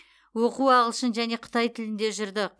оқу ағылшын және қытай тілінде жүрді